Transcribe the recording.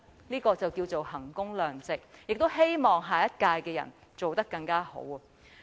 這才可稱為衡工量值，亦希望下屆負責人能做得更好。